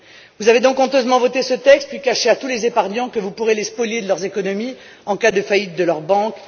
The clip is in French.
Vous avez donc honteusement voté ce texte puis caché à tous les épargnants que vous pourrez les spolier de leurs économies en cas de faillite de leur banque.